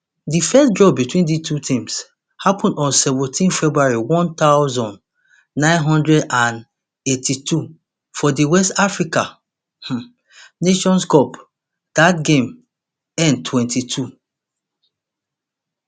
di first draw between dis two teams happun on seventeen february one thousand, nine hundred and eighty-two for di west africa um nations cup dat game end twenty-two